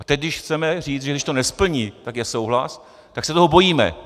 A teď, když chceme říct, že když to nesplní, tak je souhlas, tak se toho bojíme.